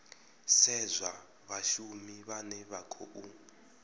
sedzwa vhashumi vhane vha khou